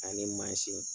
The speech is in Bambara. Ani